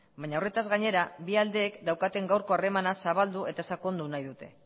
baina horretaz gainera bi aldeek daukaten gaurko harremana zabaldu eta sakondu nahi dute